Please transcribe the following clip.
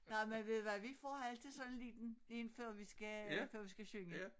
Nej men ved ud hvad vi får altid sådan en liten én før vi skal før vi skal synge